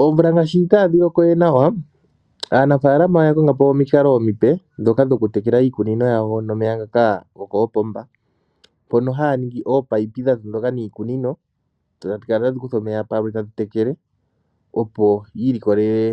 Oomvula ngaashi itaadhi loko we nawa aanafaalama oya kongapo omikalo omipe ndhoka dhoku tekela iikunino yawo nomeya ngoka go koopomba mpono haya ningi ominino dha dhingoloka niikunino tadhi kala tadhi kutha omeya palwe tadhi tekele opo yi ilikolele